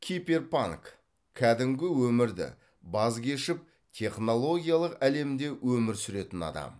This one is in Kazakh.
киберпанк кәдімгі өмірді баз кешіп технологиялық әлемде өмір сүретін адам